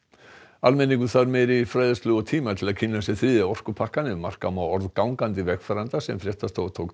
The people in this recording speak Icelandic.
almenningur þarf meiri fræðslu og tíma til að kynna sér þriðja orkupakkann ef marka má orð gangandi vegfarenda sem fréttastofa tók